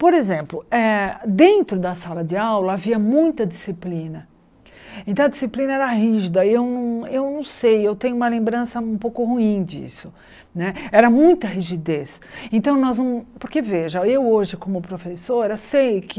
Por exemplo, eh dentro da sala de aula havia muita disciplina, então a disciplina era rígida, eu não eu não sei, eu tenho uma lembrança um pouco ruim disso né, era muita rigidez então nós não, porque veja, eu hoje como professora sei que